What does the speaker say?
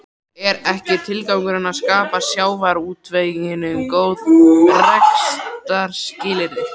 Er ekki tilgangurinn að skapa sjávarútveginum góð rekstrarskilyrði?